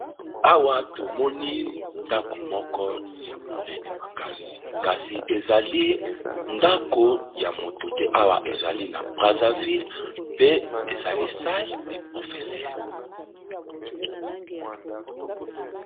Awa tomoni ndako moko ya monene makasi, kasi ezali ndako ya moto te awa ezali na Brazzaville pe ezali sale de Professeur.